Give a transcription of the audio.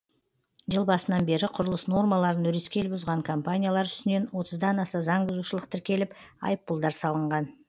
жыл басынан бері құрылыс нормаларын өрескел бұзған компаниялар үстінен отыздан аса заңбұзушылық тіркеліп айыппұлдар салынған